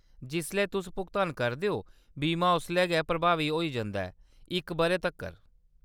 जिसलै तुस भुगतान करदे ओ, बीमा उसलै गै प्रभावी होई जंदा ऐ, इक बʼरे तक्कर।